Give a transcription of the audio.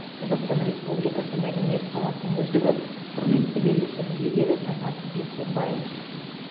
қазақстан республикасы мәдениет саласының үздігі құрметті белгісінің иегері таңат бейсенбаев